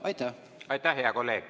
Aitäh, hea kolleeg!